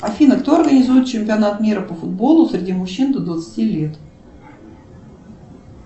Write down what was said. афина кто организует чемпионат мира по футболу среди мужчин до двадцати лет